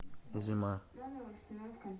зима